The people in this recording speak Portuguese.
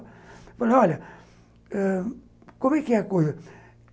Ele falou, olha, ãh, como é que é a coisa?